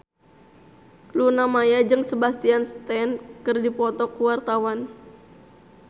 Luna Maya jeung Sebastian Stan keur dipoto ku wartawan